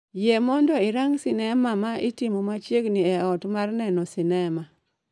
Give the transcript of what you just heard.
yie mondo irang sinema ma itimo machiegni e ot ma neno sinema